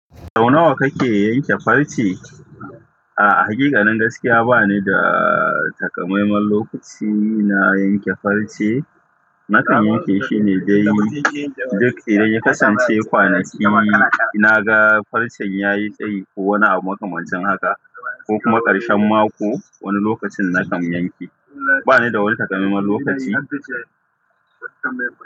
Sau nawa kake yanke farce? A'a, hakikanin gaskiya ba ni da takamaiman lokaci na yanke farce. Nakan yanke shine dai duk idan ya kasance kwanaki na ga farcen ya yi tsayi ko wani abu makamancin haka, ko kuma karshen mako wani lokacin nakan yanke. Ba ni da wani takamaiman lokaci.